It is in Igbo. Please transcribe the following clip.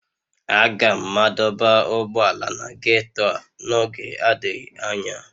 Aga m madọba ụgbọala na ghetto a n'oge adịghị anya